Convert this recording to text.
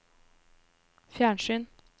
fjernsyn